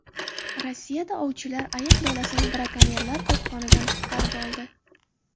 Rossiyada ovchilar ayiq bolasini brakonyerlar qopqonidan qutqarib oldi.